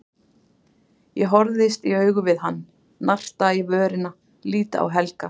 Ég horfist í augu við hann, narta í vörina, lít á Helga.